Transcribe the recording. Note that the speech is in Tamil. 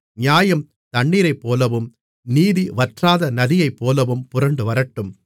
நியாயம் தண்ணீரைப்போலவும் நீதி வற்றாத நதியைப்போலவும் புரண்டுவரட்டும்